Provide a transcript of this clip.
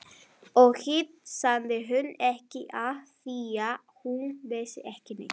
Og hitt sagði hún ekki afþvíað hún vissi ekki neitt.